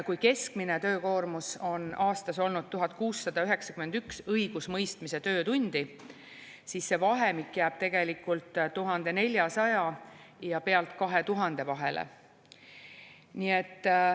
Kui keskmine töökoormus on aastas olnud 1691 õigusmõistmise töötundi, siis see vahemik jääb tegelikult 1400–2000 vahele.